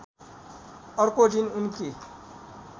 अर्को दिन उनकी